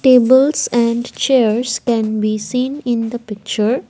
tables and chairs can be seen in the picture.